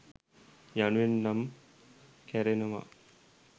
යනුවෙන් නම් කැරෙනවා